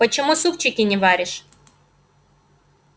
почему супчики не варишь